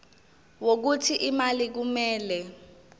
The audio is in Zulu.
wokuthi imali kumele